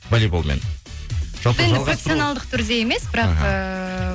волейболмен жалпы жалғастыру профессионалдық түрде емес бірақ эээ